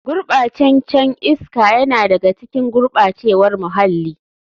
Gurɓacen can iska yana da ga cikin gurɓacewar muhalli.